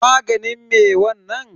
Maganin me wanna?